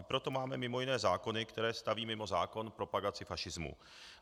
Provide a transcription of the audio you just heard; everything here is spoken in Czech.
I proto máme mimo jiné zákony, které staví mimo zákon propagaci fašismu.